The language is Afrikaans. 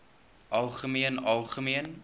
algemeen algemeen